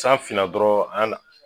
San fina dɔrɔn an